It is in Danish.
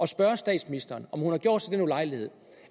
spørge statsministeren om hun havde gjort sig den ulejlighed